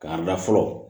K'a da fɔlɔ